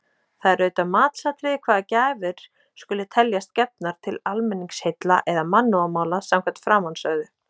Það er auðvitað matsatriði hvaða gjafir skuli teljast gefnar til almenningsheilla eða mannúðarmála samkvæmt framansögðu.